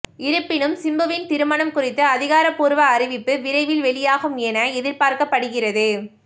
இருப்பினும் சிம்புவின் திருமணம் குறித்து அதிகாரபூர்வ அறிவிப்பு விரைவில் வெளியாகும் என எதிர்பார்க்கப்படுகிறது